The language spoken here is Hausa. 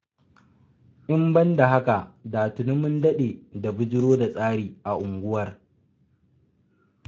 In ban da haka da tuni mun daɗe da bujiro da tsari a unguwar.